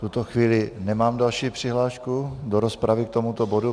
V tuto chvíli nemám žádnou přihlášku do rozpravy k tomuto bodu.